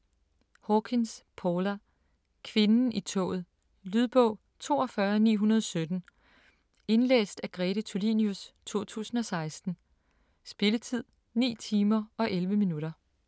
Hawkins, Paula: Kvinden i toget Lydbog 42917 Indlæst af Grete Tulinius, 2016. Spilletid: 9 timer, 11 minutter.